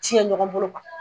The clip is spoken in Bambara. Ciyɛn ɲɔgɔn bolo